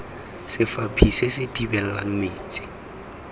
sefaphi se se thibelang metsi